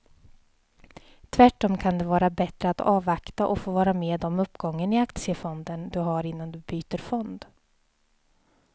Tvärtom kan det vara bättre att avvakta och få vara med om uppgången i aktiefonden du har innan du byter fond.